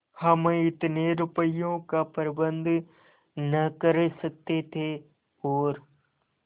हम इतने रुपयों का प्रबंध न कर सकते थे और